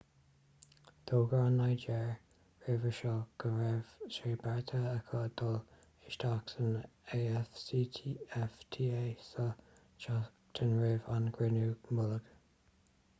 d'fhógair an nigéir roimhe seo go raibh sé beartaithe aici dul isteach san afcfta sa tseachtain roimh an gcruinniú mullaigh